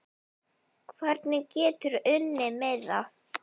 Hvernig geturðu unnið miða?